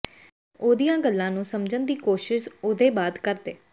ਉਹਦੀਆਂ ਗੱਲਾਂ ਨੂੰ ਸਮਝਣ ਦੀ ਕੋਸ਼ਿਸ ੳਹਦੇ ਬਾਅਦ ਕਰਦੇ